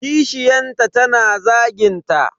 Kishiyanta tana zagin ta.